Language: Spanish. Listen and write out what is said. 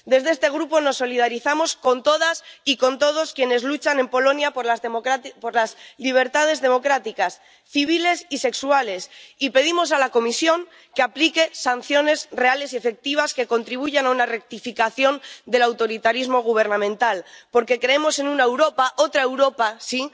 Desde este Grupo nos solidarizamos con todas y con todos quienes luchan en Polonia por las libertades democráticas, civiles y sexuales y pedimos a la Comisión que aplique sanciones reales y efectivas que contribuyan a una rectificación del autoritarismo gubernamental, porque creemos en una Europa —otra Europa, sí—